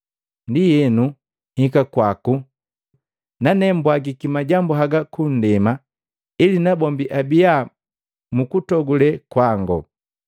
Ndienu nhika kwaku, nane mbwagiki majambu haga kundema, ili nabombi abiya mukutogule kwango.